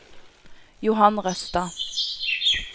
Johan Røstad